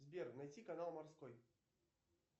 сбер найти канал морской